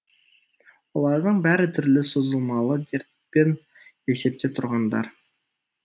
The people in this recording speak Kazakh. олардың бәрі түрлі созылмалы дертпен есепте тұрғандар